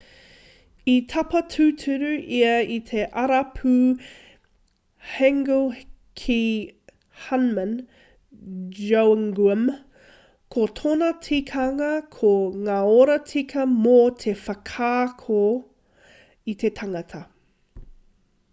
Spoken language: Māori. i tapa tūturu ia i te arapū hanguel ki hunmin jeongeum ko tōna tikanga ko ngā oro tika mō te whakaako i te tangata